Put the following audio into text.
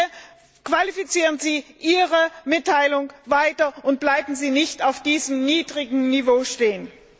Bitte qualifizieren Sie Ihre Mitteilung weiter und bleiben Sie nicht auf diesem niedrigen Niveau stehen.